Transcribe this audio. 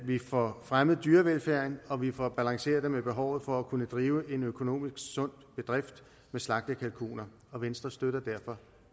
vi får fremmet dyrevelfærden og at vi får balanceret det med behovet for at kunne drive en økonomisk sund bedrift med slagtekalkuner og venstre støtter derfor